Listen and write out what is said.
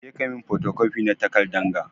Je ka yi min fotocopi na takardan ga!